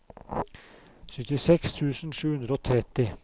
syttiseks tusen sju hundre og tretti